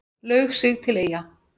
Laug sig til Eyja